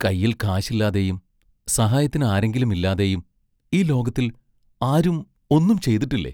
കൈയിൽ കാശില്ലാതെയും സഹായത്തിന് ആരെങ്കിലും ഇല്ലാതെയും ഈ ലോകത്തിൽ ആരും ഒന്നും ചെയ്തിട്ടില്ലേ?